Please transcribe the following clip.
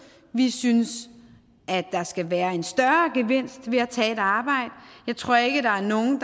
vi synes at der skal være en større gevinst ved at tage et arbejde jeg tror ikke der er nogen